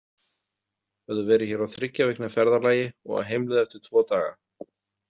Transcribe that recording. Höfðu verið hér á þriggja vikna ferðalagi og á heimleið eftir tvo daga.